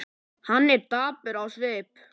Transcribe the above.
Hann er dapur á svip.